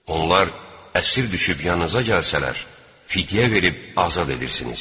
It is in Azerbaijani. Onlar əsir düşüb yanınıza gəlsələr, fidyə verib azad edirsiniz.